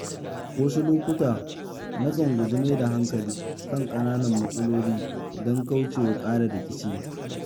Wasu lokuta na kan guji maida hankali kan kananan matsaloli don kauce wa ƙara rikici.